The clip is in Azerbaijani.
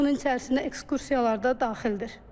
Bunun içərisinə ekskursiyalar da daxildir.